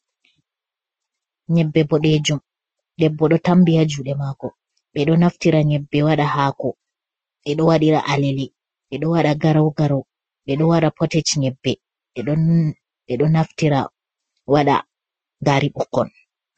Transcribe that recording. Nyebbe boɗejum debbo ɗo tambi ba juɗe mako ɓeɗo naftira nyebbe wada hako, ɓeɗo waɗira aleli ɓeɗo waɗa garau garou, ɓe ɗo wɗa potej nyebbe, ɓeɗo naftira waɗa gari ɓukkon.